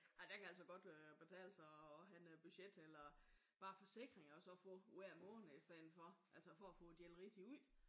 Ej der kan det altså godt øh betale sig at have en budget eller bare forsikringer og så få ud hver måned i stedet for altså for at få delt rigtigt ud